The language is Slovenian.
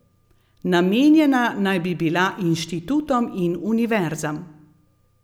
Namenjena naj bi bila inštitutom in univerzam.